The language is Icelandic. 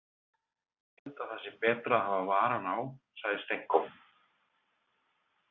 Ég held að það sé betra að hafa varann á, sagði Stenko.